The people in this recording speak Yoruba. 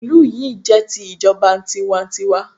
Ìlú yi jẹ́ ti ìjọba tiwa n tiwa